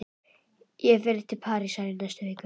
Ég fer til Parísar í næstu viku.